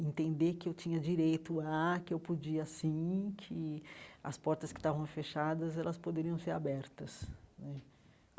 Entender que eu tinha direito a, que eu podia sim, que as portas que estavam fechadas, elas poderiam ser abertas né.